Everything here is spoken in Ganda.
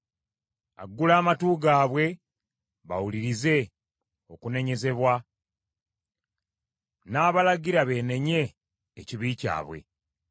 aggula amatu gaabwe bawulirize okunenyezebwa n’abalagira beenenye ekibi kyabwe.